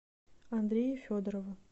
андрею федорову